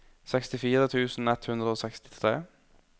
sekstifire tusen ett hundre og sekstitre